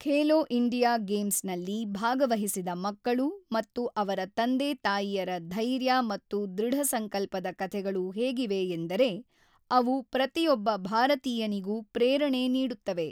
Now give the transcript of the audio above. Khelo India games ನಲ್ಲಿ ಭಾಗವಹಿಸಿದ ಮಕ್ಕಳು ಮತ್ತು ಅವರ ತಂದೆ ತಾಯಿಯರ ಧೈರ್ಯ ಮತ್ತು ಧೃಢ ಸಂಕಲ್ಪದ ಕಥೆಗಳು ಹೇಗಿವೆ ಎಂದರೆ ಅವು ಪ್ರತಿಯೊಬ್ಬ ಭಾರತೀಯನಿಗೂ ಪ್ರೇರಣೆ ನೀಡುತ್ತವೆ.